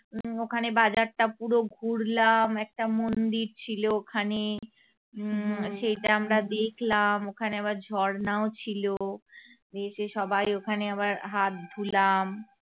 ওখানে বাজারটা পুরো ঘুরলাম একটা মন্দির ছিল ওখানে উম সেটা আমরা দেখলাম ওখানে আবার ঝর্ণাও ছিল গিয়েছি সবাই ওখানে আবার হাত ধুলাম।